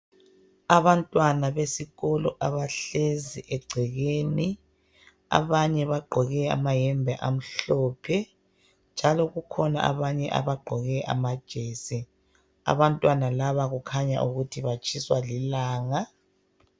Abantwana besikolo abahlezi egcekeni abanye bagqoke amahembe amhlophe njalo kukhona abanye abagqoke amajesi, abantwana laba kukhanya batshiswa lilanga .